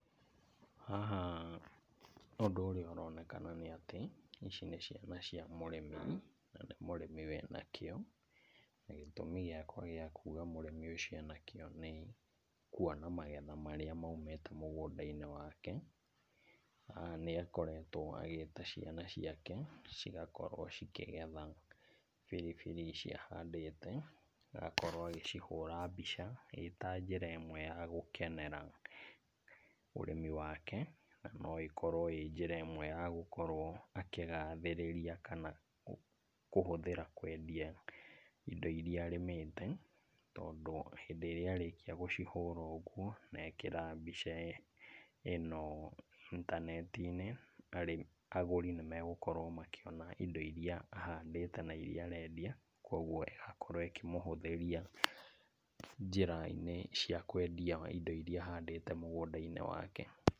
Haha ũndũ ũrĩa ũronekana nĩ ati, ici nĩ ciana cia mũrĩmi, na nĩ mũrĩmi wĩna kĩyo, na gĩtũmi gĩakwa gĩa kuuga mũrĩmi ũcio ena kĩyo nĩ kuona magetha marĩa maumĩte mugũnda-inĩ wake. Haha nĩ akoretwo agĩĩta ciana ciake cigakorwo cikĩgetha biribiri ici ahandĩte, agakorwo agĩcihũra mbica, ĩ ta njĩra ĩmwe ya gũkenera ũrĩmi wake, no ĩkorwo ĩ njĩra ĩmwe ya gũkorwo akĩgathĩrĩria, kana kũhũthĩra kwendia indo iria arĩmĩte, tondũ hĩndĩ ĩrĩa arĩkia gũcihũra ũguo na ekĩra mbica ĩno intaneti-inĩ, agũri nĩmegũkorwo makĩona indo ahandĩte na iria arendia, koguo ĩgakorwo ĩkĩmũhũthĩria njĩra-inĩ cia kwendia indo iria ahandĩte mũgũnda-inĩ wake.